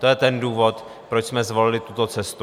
To je ten důvod, proč jsme zvolili tuto cestu.